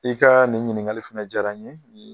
I ka nin ɲiningali fɛnɛ diyara n ye